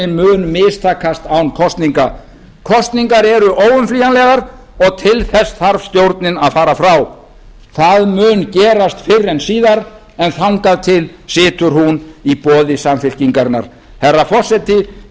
mun mistakast án kosninga kosningar eru óumflýjanlegar og til þess þarf stjórnin að fara frá það mun gerast fyrr en síðar en þangað til situr hún í boði samfylkingarinnar herra forseti